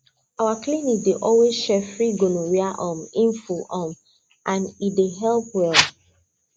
our clinic dey always share free gonorrhea um info um and e dey help well